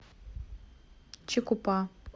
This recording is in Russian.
чикупа